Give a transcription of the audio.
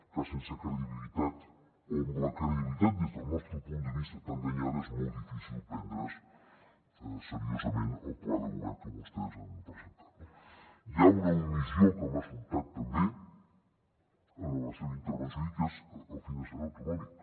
clar sense credibilitat o amb la credibilitat des del nostre punt de vista tan danyada és molt difícil prendre’s seriosament el pla de govern que vostès han presentat no hi ha una omissió que m’ha sobtat també en la seva intervenció i que és el finançament autonòmic